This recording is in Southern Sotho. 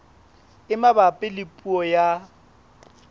e mabapi le puo ya